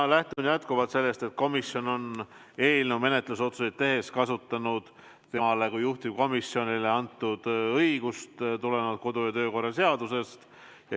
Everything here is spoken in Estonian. Ma lähtun jätkuvalt sellest, et komisjon on eelnõu menetlusotsuseid tehes kasutanud temale kui juhtivkomisjonile antud õigust kodu- ja töökorra seaduses.